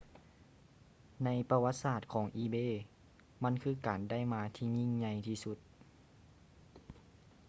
ໃນປະຫວັດສາດຂອງ ອີເບ ebay ມັນຄືການໄດ້ມາທີ່ຍິ່ງໃຫຍ່ທີ່ສຸດ